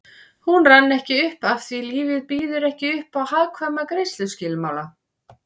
Hún rann ekki upp afþví lífið býður ekki uppá hagkvæma greiðsluskilmála